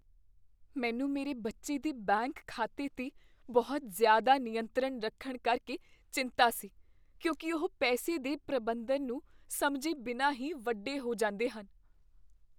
ਮੈਨੂੰ ਮੇਰੇ ਬੱਚੇ ਦੇ ਬੈਂਕ ਖਾਤੇ 'ਤੇ ਬਹੁਤ ਜ਼ਿਆਦਾ ਨਿਯੰਤਰਣ ਰੱਖਣ ਕਰਕੇ ਚਿੰਤਾ ਸੀ ਕਿਉਂਕਿ ਉਹ ਪੈਸੇ ਦੇ ਪ੍ਰਬੰਧਨ ਨੂੰ ਸਮਝੇ ਬਿਨਾਂ ਹੀ ਵੱਡੇ ਹੋ ਜਾਂਦੇ ਹਨ।